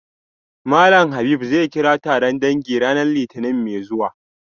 Malam Habib zai kira taron dangi ranar litinin mai zuwa